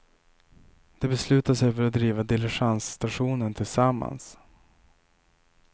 De beslutar sig för att driva diligensstationen tillsammans.